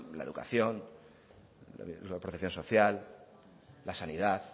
la educación la protección social la sanidad